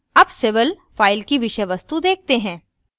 अब civil file की विषय वस्तु देखते हैं